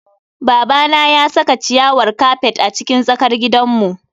Babana ya saka ciyawar kafet a cikin tsakar gidanmu.